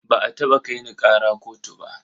Ba a taɓa kai ni ƙara kotu ba.